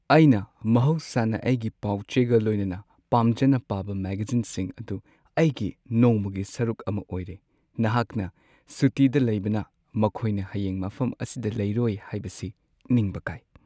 ꯑꯩꯅ ꯃꯍꯧꯁꯥꯅ ꯑꯩꯒꯤ ꯄꯥꯎ-ꯆꯦꯒ ꯂꯣꯏꯅꯅ ꯄꯥꯝꯖꯅ ꯄꯥꯕ ꯃꯦꯒꯥꯖꯤꯟꯁꯤꯡ ꯑꯗꯨ ꯑꯩꯒꯤ ꯅꯣꯡꯃꯒꯤ ꯁꯔꯨꯛ ꯑꯃ ꯑꯣꯏꯔꯦ꯫ ꯅꯍꯥꯛꯅ ꯁꯨꯇꯤꯗ ꯂꯩꯕꯅ ꯃꯈꯣꯏꯅ ꯍꯌꯦꯡ ꯃꯐꯝ ꯑꯁꯤꯗ ꯂꯩꯔꯣꯏ ꯍꯥꯏꯕꯁꯤ ꯅꯤꯡꯕ ꯀꯥꯏ꯫